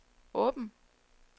åben